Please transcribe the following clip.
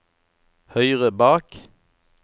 høyre bak